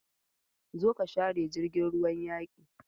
Zo ka share jirgin ruwan yaki!